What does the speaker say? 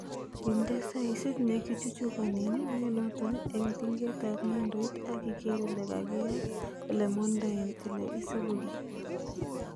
Inde saisit nekichuchukonen nenoton en tingetab nyundoit ak iker ile kakiyat elemondoen ele isipugee.